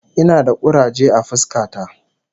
Ina da kuraje a fuska ta